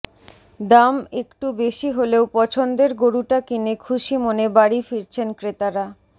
দাম একটু বেশি হলেও পছন্দের গরুটা কিনে খুশি মনে বাড়ি ফিরছেন ক্রেতারা